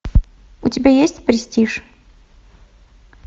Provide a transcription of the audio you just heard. у тебя есть престиж